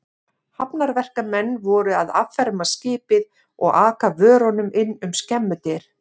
Hafnarverkamenn voru að afferma skipið og aka vörunum inn um skemmudyr.